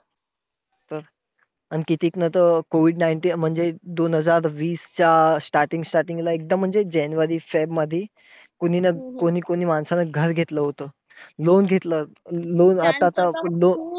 अं अन कितीक नं तर COVID nineteen तर म्हणजे दोन हजार वीसच्या starting staring ला एकदम म्हणजे जानेवारी फेबमध्ये कोणी कोणी माणसाने घर घेतलं होत. Loan घेतलं होत. loan आता